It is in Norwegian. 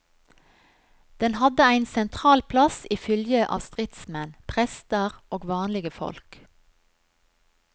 Den hadde ein sentral plass i fylgje av stridsmenn, prestar og vanlege folk.